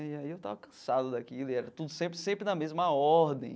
E aí eu tava cansado daquilo e era tudo sempre sempre na mesma ordem.